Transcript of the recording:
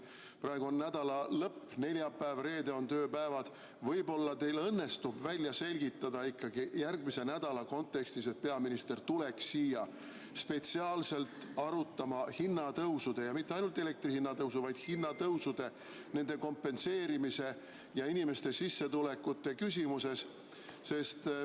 Praegu on nädalalõpp, neljapäev-reede on tööpäevad, võib-olla teil ikkagi õnnestub järgmise nädala kontekstis välja selgitada, et peaminister tuleks siia spetsiaalselt arutama hinnatõusude – mitte ainult elektri hinna tõusu, vaid hinnatõusude –, nende kompenseerimise ja inimeste sissetulekute küsimust.